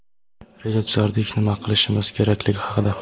reja tuzardik nima qilishimiz kerakligi haqida.